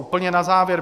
Úplně na závěr.